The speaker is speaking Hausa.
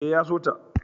E, ya so ta.